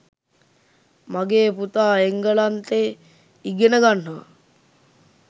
මගේ පුතා එංගලන්තේ ඉගෙන ගන්නවා.